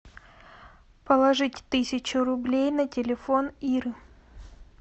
положить тысячу рублей на телефон иры